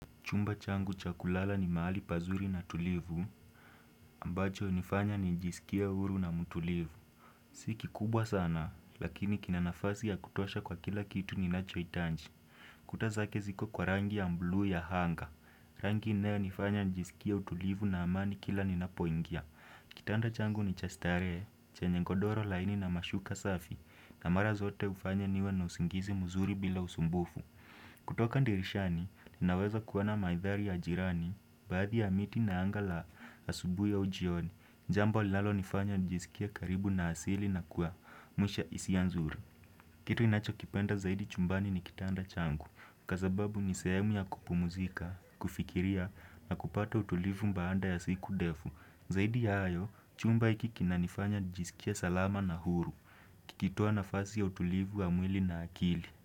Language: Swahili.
Chumba changu cha kulala ni mahali pazuri na tulivu, ambacho nifanya nijisikie huru na mutulivu. Si kikubwa sana, lakini kina nafasi ya kutosha kwa kila kitu ninachoitanji. Kuta zake ziko kwa rangi ya mbluu ya hanga. Rangi inayonifanya nijisikia utulivu na amani kila ninapoingia. Kitanda changu ni cha starehe chanye godoro laini na mashuka safi, na mara zote ufanya niwe na usingizi muzuri bila usumbufu. Kutoka ndirishani, naweza kuona maithari ya jirani Baadhi ya miti na anga la asubui au ujioni Jambo linalo nifanya nijisikie karibu na asili na kuwa Mwisha isianzuri Kitu inacho kipenda zaidi chumbani ni kitanda changu Kwa sababu ni sehemu ya kupumuzika, kufikiria na kupata utulivu mbaanda ya siku defu Zaidi ya ayo, chumba iki kinanifanya nijisikie salama na huru Kikitua nafasi ya utulivu wa mwili na akili.